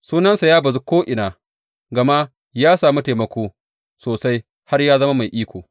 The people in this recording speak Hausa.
Sunansa ya bazu ko’ina, gama ya sami taimako sosai har ya zama mai iko.